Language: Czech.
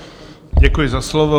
Děkuji za slovo.